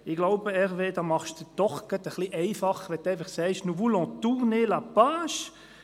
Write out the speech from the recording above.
Ich glaube, Hervé Gullotti, Sie machen es sich doch gerade etwas einfach, wenn Sie sagen: «Nous voulons tourner la page.»